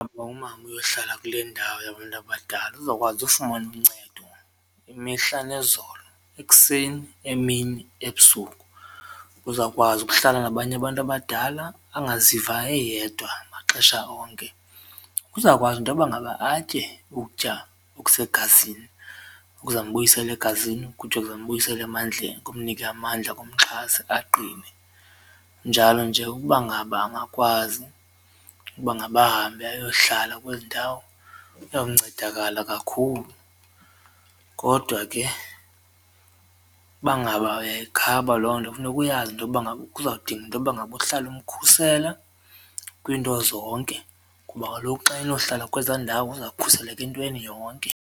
UMama uyohlala kule ndawo yabantu abadala uzokwazi ufumana uncedo imihla nezolo ekuseni, emini, ebusuku. Uzawukwazi ukuhlala nabanye abantu abadala angaziva eyedwa maxesha onke, uzawukwazi intoba ngaba atye ukutya okusegazini okuzambuyisela egazini ukutya okuzambuyisela emandleni kumnike amandla kumxhase aqine njalo nje ukuba ngaba angakwazi ukuba ngaba ahambe ayohlala kwezi ndawo uyawuncedakala kakhulu. Kodwa ke uba ngaba uyayikhaba loo nto funeka uyazi intoba ngaba kuza kudinga intoba ngaba uhlale umkhusela kwinto zonke kuba kaloku xa enohlala kweza ndawo uzawukhuseleka entweni yonke.